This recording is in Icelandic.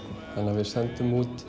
þannig að við sendum út